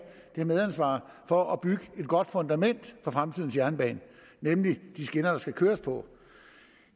det medansvar for at bygge et godt fundament for fremtidens jernbane nemlig de skinner der skal køres på